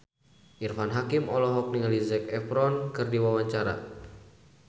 Irfan Hakim olohok ningali Zac Efron keur diwawancara